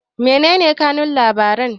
menene kanun labaran